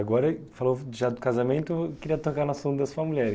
Agora, falou já do casamento, queria tocar na sombra da sua mulher.